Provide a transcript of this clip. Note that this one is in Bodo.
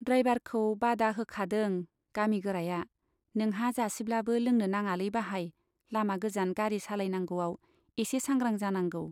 ड्राइभारखौ बादा होखादों गामि गोराया, नोंहा जासिब्लाबो लोंनो नाङालै बाहाइ लामा गोजान गारि सालायनांगौआव एसे सांग्रां जानांगौ।